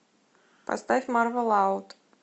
поставь марва лауд